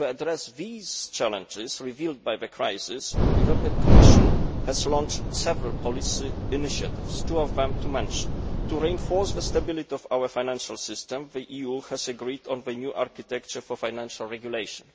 To address the challenges revealed by the crisis, the Commission has launched several policy initiatives. To reinforce the stability of our financial system, the EU has agreed on a new architecture for financial regulation.